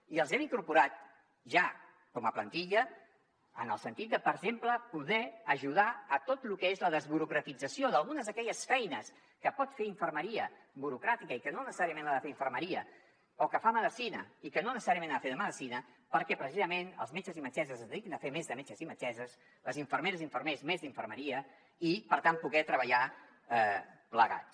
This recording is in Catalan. i els hem incorporat ja com a plantilla en el sentit de per exemple poder ajudar a tot lo que és la desburocratització d’algunes d’aquelles feines que pot fer infermeria burocràtiques i que no necessàriament les ha de fer infermeria o que fa medicina i que no necessàriament ha de fer medicina perquè precisament els metges i metgesses es dediquin a fer més de metges i metgesses i les infermeres i infermers més infermeria i per tant poder treballar plegats